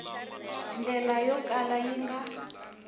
ndlela yo kala yi nga